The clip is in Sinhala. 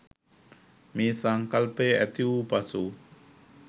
මේ සංකල්පය ඇතිවූ පසු